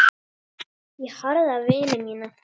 Ég horfði á vini mína.